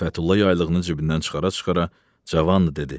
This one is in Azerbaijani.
Fəthulla yaylığını cibindən çıxara-çıxara, cavandı dedi.